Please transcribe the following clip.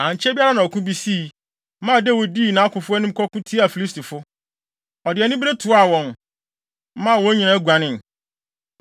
Ankyɛ biara na ɔko bi sii, maa Dawid dii nʼakofo anim kɔko tiaa Filistifo. Ɔde anibere toaa wɔn, maa wɔn nyinaa guanee.